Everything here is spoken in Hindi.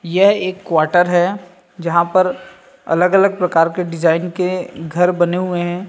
यह एक क्वाटर है जहाँ पर अलग- अलग प्रकार के डिज़ाइन के घर बने हुए हैं।